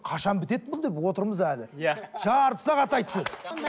қашан бітеді бұл деп отырмыз әлі иә жарты сағат айтты